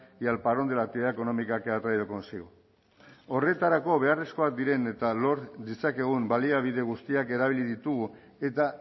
y al parón de la actividad económica que ha traído consigo horretarako beharrezkoak diren eta lor ditzakegun baliabide guztiak erabili ditugu eta